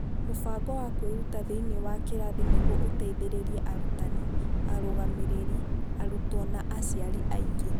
Mũbango wa kwĩrutĩra thĩinĩ wa kĩrathi nĩguo ũteithie arutani, arũgamĩrĩri, arutwo na aciari angĩ.